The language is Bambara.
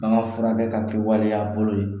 An ka furakɛ ka kɛ waleya bolo ye